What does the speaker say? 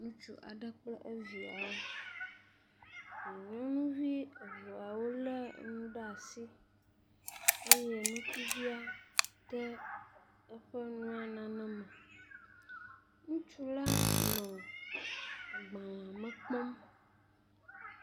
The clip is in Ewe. Ŋutsu aɖe kple eviawo. Nyɔnuvi eveawo le nu ɖe asi eye ŋutsuvia de eƒe nua nane me. Ŋutsu la nɔ agbalea me kpɔm.